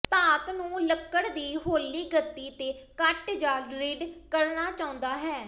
ਧਾਤ ਨੂੰ ਲੱਕੜ ਦੀ ਹੌਲੀ ਗਤੀ ਤੇ ਕੱਟ ਜਾਂ ਡ੍ਰਿੱਲਡ ਕਰਨਾ ਚਾਹੁੰਦਾ ਹੈ